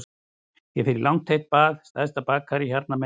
Ég fer í langt heitt bað í stærsta baðkari hérna megin við